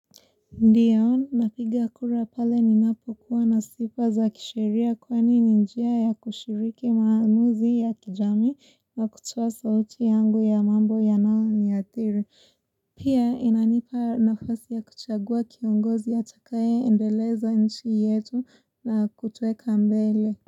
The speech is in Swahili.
Ndio, napiga kura pale ninapokuwa nasifa za kisheria kwani ni njia ya kushiriki maamuzi ya kijamii na kutoa sauti yangu ya mambo yanayo niathiri. Pia inanipa nafasi ya kuchagua kiongozi atakaye endeleza nchi yetu na kutuweka mbele.